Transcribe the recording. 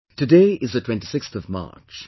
Today is the 26th of March